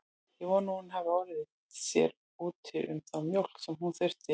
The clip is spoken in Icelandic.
Ég vona að hún hafi orðið sér úti um þá mjólk sem hún þurfti.